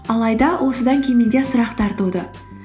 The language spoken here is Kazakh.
алайда осыдан кейін менде сұрақтар туды